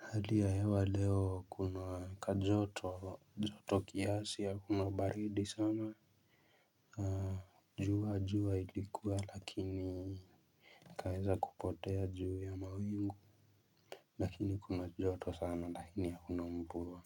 Hali ya hewa leo kuna kajoto joto kiasi ya kuna baridi sana. Jua jua ilikuwa lakini ikaweza kupotea juu ya mawingu. Lakini kuna joto sana lakini hakuna mvua.